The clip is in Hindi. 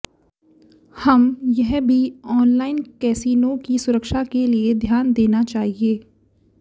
हम यह भी ऑनलाइन कैसीनो की सुरक्षा के लिए ध्यान देना चाहिए